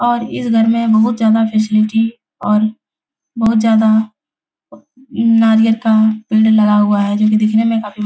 और इस घर में बहुत ज्यादा फैसिलिटी और बहुत ज्यादा नारियल का पेड़ लगा हुआ है जो कि दिखने में काफी --